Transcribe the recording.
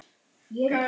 Þín Arney.